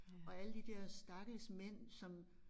Og alle de der stakkels mænd som